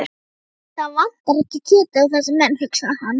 Það vantar ekki kjötið á þessa menn, hugsaði hann.